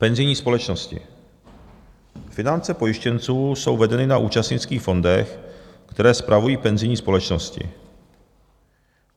Penzijní společnosti - finance pojištěnců jsou vedeny na účastnických fondech, které spravují penzijní společnosti.